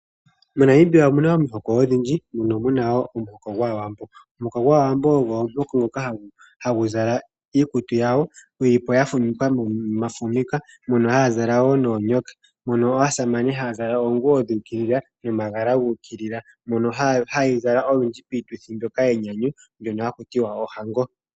MoNamibia omuna omihoko odhindji mono muna wo omuhoko gwaawambo. Omuhoko gwAawambo ogo omuhoko ngoka hagu zala iikutu yagwo, yi li po ya fumvikwa nomafumika. mono haya zala wo noonyoka. Mono aasamane haya zala wo oonguwo dhuukilila nomagala guukilila. Mbyono hayi zalwa unene piituthi mbyoka yenyanyu mbyono haku tiwa ohango.